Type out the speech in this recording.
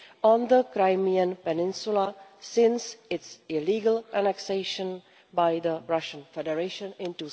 on the Crimean peninsula since its illegal annexation by the Russian Federation in